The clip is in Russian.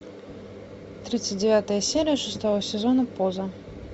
тридцать девятая серия шестого сезона поза